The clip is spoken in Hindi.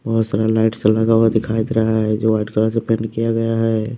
बहुत सारा लाइट्स लगा हुआ दिखाई दे रहा है जो व्हाईट कलर से पेंट किया गया हैं।